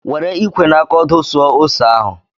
Were ikwe na aka ọdụ suo ose ahụ!